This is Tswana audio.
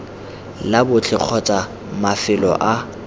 la botlhe kgotsa mafelo a